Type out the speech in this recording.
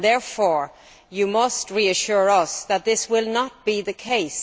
Therefore, he must reassure us that this will not be the case.